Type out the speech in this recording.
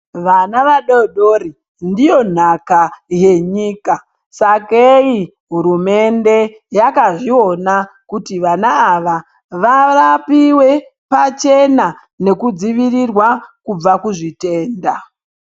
Vana vadodori ndiyo nhaka yanyika. Sakei hurumende yakazviona kuti vana ava vavapive pachena. Nekudzivitirwa kubva kuzvitenda.